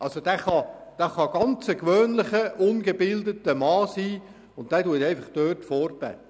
Er kann ein ganz gewöhnlicher, ungebildeter Mann sein, der dort einfach vorbetet.